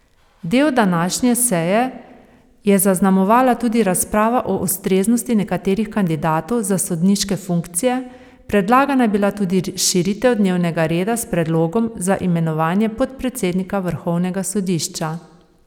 Del današnje seje je zaznamovala tudi razprava o ustreznosti nekaterih kandidatov za sodniške funkcije, predlagana je bila tudi širitev dnevnega reda s predlogom za imenovanje podpredsednika vrhovnega sodišča.